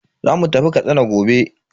Zamu tafi Katsina gobe.